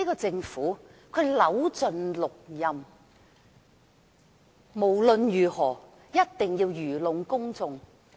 政府扭盡六壬，無論如何一定要愚弄公眾。